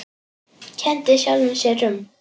Kenndi sjálfum sér um.